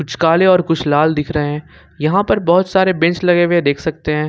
कुछ काले और कुछ लाल दिख रहे हैं यहां पर बहुत सारे बेंच लगे हुए देख सकते हैं।